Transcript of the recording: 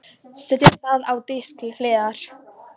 Setjið það á disk til hliðar.